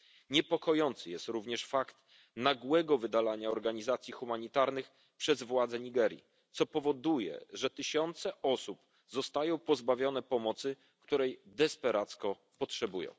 Niepokojący jest również fakt nagłego wydalania organizacji humanitarnych przez władze Nigerii, co powoduje, że tysiące osób zostają pozbawione pomocy, której desperacko potrzebują.